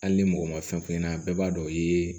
Hali ni mɔgɔ ma fɛn f'i ɲɛna bɛɛ b'a dɔn o ye